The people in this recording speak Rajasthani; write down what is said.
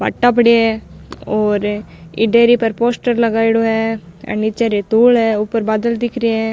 बाटा पड़ा है और ई डेयरी पर पोस्टर लगाईडो है निचे रितुल है ऊपर बादल दिख रा है।